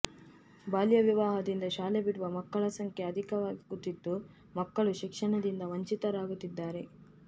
ಬಾಲ್ಯ ವಿವಾಹದಿಂದ ಶಾಲೆ ಬಿಡುವ ಮಕ್ಕಳ ಸಂಖ್ಯೆ ಅಧಿಕವಾಗುತ್ತಿದ್ದು ಮಕ್ಕಳು ಶಿಕ್ಷಣದಿಂದ ವಂಚಿತ ರಾಗುತ್ತಿದ್ದಾರೆ